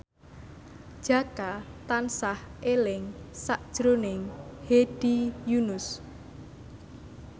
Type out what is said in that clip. Jaka tansah eling sakjroning Hedi Yunus